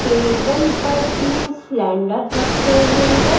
Table पर तीन cylinder रखे हुए हैं।